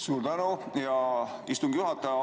Suur tänu, hea istungi juhataja!